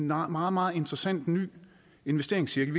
meget meget meget interessant og ny investeringscirkel